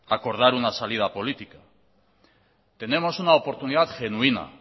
acordar una salida política tenemos una oportunidad genuina